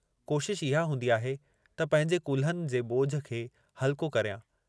कोशशि इहा हूंदी आहे त पंहिंजे कुल्हनि जे ॿोझ खे हल्को करियां।